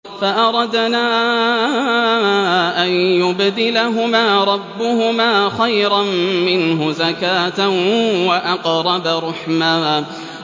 فَأَرَدْنَا أَن يُبْدِلَهُمَا رَبُّهُمَا خَيْرًا مِّنْهُ زَكَاةً وَأَقْرَبَ رُحْمًا